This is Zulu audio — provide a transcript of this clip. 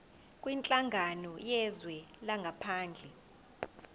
kwinhlangano yezwe langaphandle